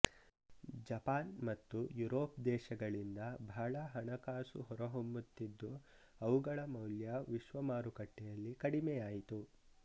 Japan ಮತ್ತು Europe ದೇಶಗಳಿಂದ ಬಹಳ ಹಣಕಾಸು ಹೊರ ಹೊಮ್ಮುತ್ತಿದ್ದು ಅವುಗಳ ಮೌಲ್ಯ ವಿಶ್ವ ಮಾರುಕಟೆಯಲ್ಲಿ ಕಡಿಮೆಯಾಯಿತು